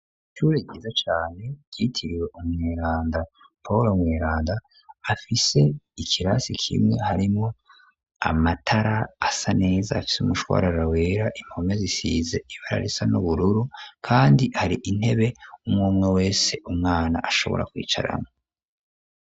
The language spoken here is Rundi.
Ishure ryiza cane ryitiwe umweranda pawulo mweranda afise ikirasi kimwe harimwo amatara asa neza afise umushwarara wera impome zisize ibara risa n'ubururu kandi hari intebe umumwe wese umwana ashobora kwicaramwo.